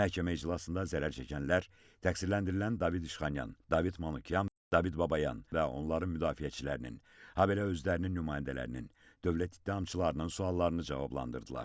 Məhkəmə iclasında zərər çəkənlər, təqsirləndirilən David İşxanyan, David Manukyan, David Babayan və onların müdafiəçilərinin, habelə özlərinin nümayəndələrinin, dövlət ittihamçılarının suallarını cavablandırdılar.